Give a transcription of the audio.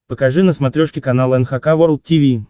покажи на смотрешке канал эн эйч кей волд ти ви